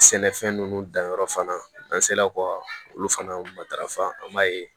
Sɛnɛfɛn ninnu danyɔrɔ fana n'an sera ka olu fana matarafa an b'a ye